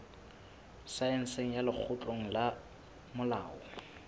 saense ya lekgotleng la molao